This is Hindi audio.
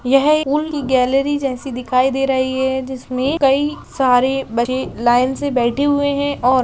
यह फूल की गैलरी जैसी दिखाई दे रही है जिसमें कई सारे बच्चे लाइन से बैठे हुए हैं और --